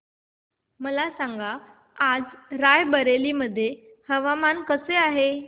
मला सांगा आज राय बरेली मध्ये हवामान कसे आहे